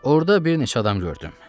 Orada bir neçə adam gördüm.